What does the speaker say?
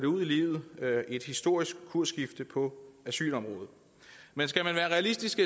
ud i livet et historisk kursskifte på asylområdet men skal man være realistisk